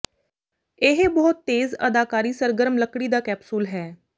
ਇਹ ਬਹੁਤ ਤੇਜ਼ ਅਦਾਕਾਰੀ ਸਰਗਰਮ ਲੱਕੜੀ ਦਾ ਕੈਪਸੂਲ ਹੈ